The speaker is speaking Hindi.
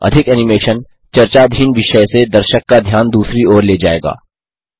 अधिक एनिमेशन चर्चाधीन विषय से दर्शक का ध्यान दूसरी ओर ले जायेगा